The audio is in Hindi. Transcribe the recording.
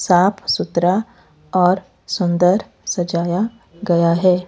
साफ सुथरा और सुंदर सजाया गया है।